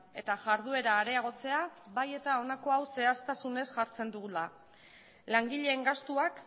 eta jarduera areagotzea bai eta honako hau zehaztasunez jartzen dugula langileen gastuak